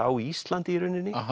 á Íslandi í rauninni